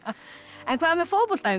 en hvað með fótboltaæfingar